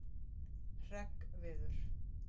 Hreggviður